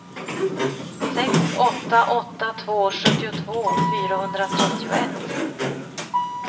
sex åtta åtta två sjuttiotvå fyrahundratrettioett